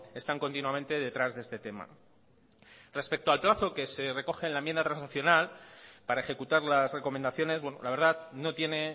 están continuamente detrás de este tema respecto al plazo que se recoge en la enmienda transaccional para ejecutar las recomendaciones la verdad no tiene